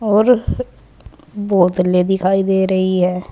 और बोतलें दिखाई दे रही हैं।